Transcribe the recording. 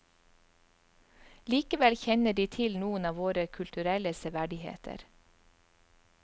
Likevel kjenner de til noen av våre kulturelle severdigheter.